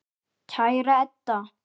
Kæra Edda.